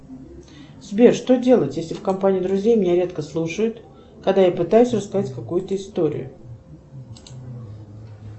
сбер что делать если в компании друзей меня редко слушают когда я пытаюсь рассказать какую то историю